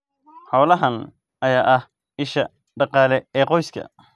Xoolahan ayaa ah isha dhaqaale ee qoyska.